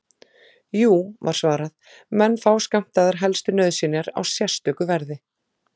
Jú, var svarað, menn fá skammtaðar helstu nauðsynjar á sérstöku verði.